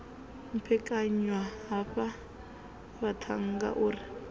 maphekanywa havha vhaṱhannga u ri